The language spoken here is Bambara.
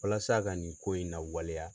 Walasa ka nin ko in na waleya